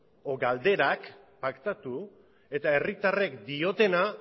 o galderak paktatu eta herritarrek diotena